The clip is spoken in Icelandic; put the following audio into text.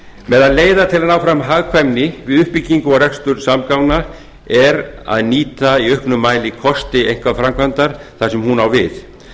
meðal leiða til að ná fram hagkvæmni við uppbyggingu og rekstur samgangna er að nýta í auknum mæli kosti einkaframkvæmdar þar sem hún á við